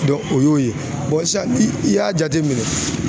o y'o ye i y'a jateminɛ